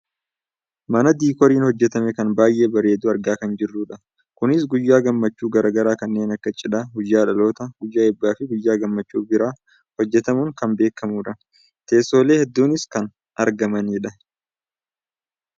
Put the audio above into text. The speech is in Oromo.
mana diikooriin hojjatame kan baayyee bareedu argaa kan jirrudha. kunis guyyaa gammachuu gara garaa kanneen akka cidhaa, guyyaa dhalootaa, guyyaa eebbaafi guyyaa gammmachuu biraa hojjatamuun kan beekkamudha. teessoolee hedduuunis kan argamanidha.